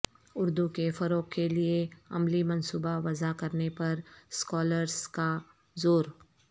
اردو کے فروغ کے لئے عملی منصوبہ وضع کرنے پر اسکالرس کا زور